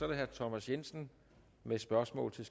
det herre thomas jensen med spørgsmål til